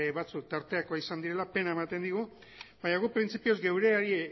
batzuk tarteko izan direla pena ematen digu baina guk printzipioz geureari